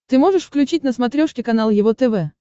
ты можешь включить на смотрешке канал его тв